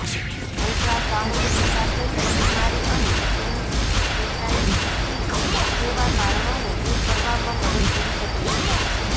ultrasound પિત્તાશયની બિમારી અને પેનકૅટાઇટિસ જેવા કારણોને દૂર કરવામાં મદદ કરી શકે છે